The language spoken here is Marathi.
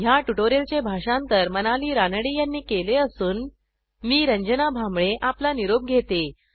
ह्या ट्युटोरियलचे भाषांतर मनाली रानडे यांनी केले असून मी रंजना भांबळे आपला निरोप घेते160